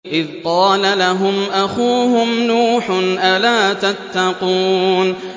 إِذْ قَالَ لَهُمْ أَخُوهُمْ نُوحٌ أَلَا تَتَّقُونَ